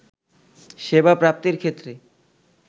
সেবা প্রাপ্তির ক্ষেত্রে